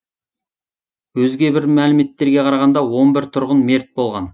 өзге бір мәліметтерге қарағанда он бір тұрғын мерт болған